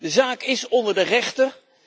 De zaak is onder de rechter.